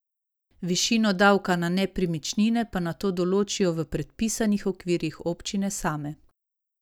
Višino davka na nepremičnine pa nato določijo v predpisanih okvirjih občine same.